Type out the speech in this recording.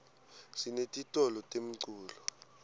sinetitolo temculo